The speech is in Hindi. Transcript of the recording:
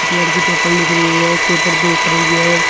एक लड़की पेपर लिख रही हुई है एक पेपर देख रही है।